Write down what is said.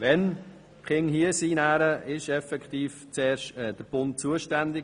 Wenn die Kinder hier sind, ist effektiv der Bund zuerst zuständig.